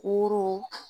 Woro